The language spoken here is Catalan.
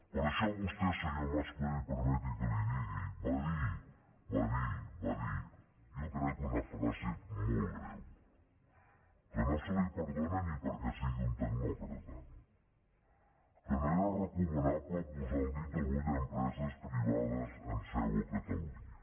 per això vostè senyor mas colell permeti’m que li ho digui va dir va dir va dir jo crec que una frase molt greu que no se li perdona ni perquè sigui un tecnòcrata que no era recomanable posar el dit a l’ull a empreses privades amb seu a catalunya